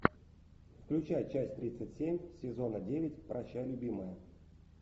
включай часть тридцать семь сезона девять прощай любимая